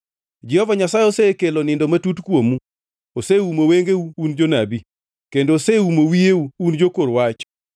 Jehova Nyasaye osekelo nindo matut kuomu, oseumo wengeu (un jonabi); kendo oseumo wiyeu (un jokor wach).